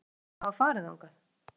Sérðu eftir því að hafa farið þangað?